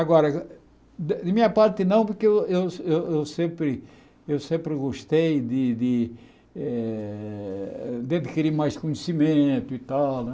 Agora, de minha parte não, porque eu eu eu sempre eu sempre gostei de eh adquirir mais conhecimento e tal.